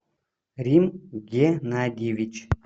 рим геннадьевич